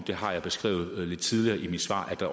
det har jeg beskrevet lidt tidligere i mit svar at